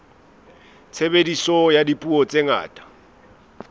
tshebediso ya dipuo tse ngata